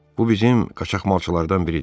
Bu bizim qaçaqmalçılardan biridir.